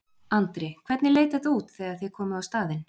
Andri: Hvernig leit þetta út þegar þið komuð á staðinn?